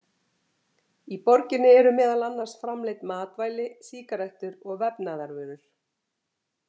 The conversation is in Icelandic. Í borginni eru meðal annars framleidd matvæli, sígarettur og vefnaðarvörur.